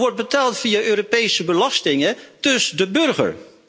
Nou, dat wordt betaald via Europese belastingen, dus de burger.